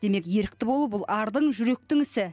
демек ерікті болу ардың жүректің ісі